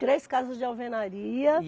Três casas de alvenaria. E